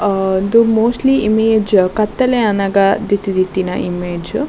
ಆ ಉಂದು mostly image ಕತ್ತಲೆ ಆನಗ ದೆತ್ತ್ ದೀತಿನ ಇಮೇಜ್ .